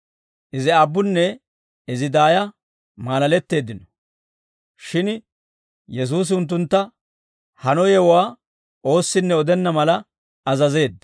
Izi aabbunne izi daaya maalaletteeddino; shin Yesuusi unttuntta, hano yewuwaa oossinne odenna mala azazeedda.